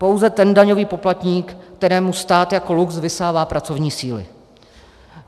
Pouze ten daňový poplatník, kterému stát jako lux vysává pracovní síly.